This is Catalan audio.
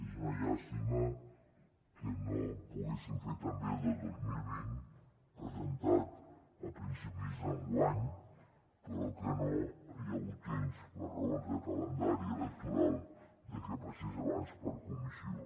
és una llàstima que no poguéssim fer també el del dos mil vint presentat a principis enguany però que no hi ha hagut temps per raons de calendari electoral de que passés abans per comissió